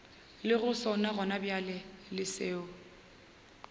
lego sona gonabjale le seo